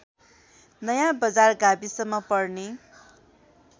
नयाँबजार गाविसमा पर्ने